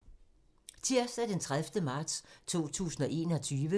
Tirsdag d. 30. marts 2021